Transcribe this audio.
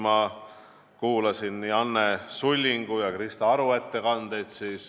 Ma kuulasin Anne Sullingu ja Krista Aru ettekandeid.